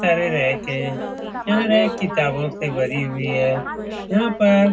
सारे रैक है। यहाँ रैक